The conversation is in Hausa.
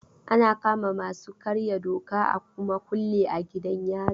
Ana kama masu karya doka a kuma kulle a gidan yari.